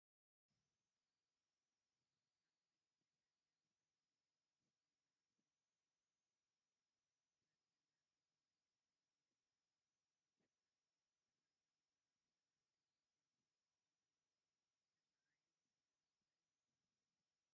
ኣብዚ ጀለቢያ ዝተኸደኑ ሞስሊም መናእሰይ ተፈናቲቶም ጠጠው ኢሎም ይርአዩ ኣለዉ፡፡ እዞም ሰባት ብከምዚ ቁመና ተፈናቲቶም ጠጠው ኢሎም ዝረኣዩ ስለምንታይ እዩ?